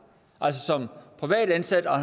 altså som privat ansat og